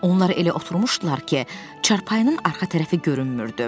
Onlar elə oturmuşdular ki, çarpayının arxa tərəfi görünmürdü.